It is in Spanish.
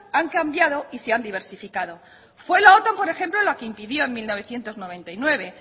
han cambiado y se han diversificado fue la otan por ejemplo la que impidió en mil novecientos noventa y nueve